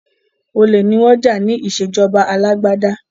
Olè ni wọ́n jà ní ìṣèjọba alágbádá.